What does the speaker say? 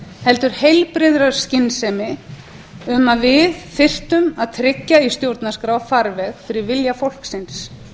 heldur heilbrigðri skynsemi um að við þyrftum að tryggja í stjórnarskrá farveg fyrir vilja fólksins